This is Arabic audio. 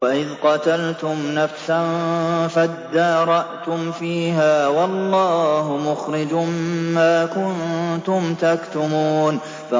وَإِذْ قَتَلْتُمْ نَفْسًا فَادَّارَأْتُمْ فِيهَا ۖ وَاللَّهُ مُخْرِجٌ مَّا كُنتُمْ تَكْتُمُونَ